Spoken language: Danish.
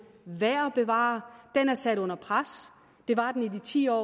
værd bevare den er sat under pres det var den i de ti år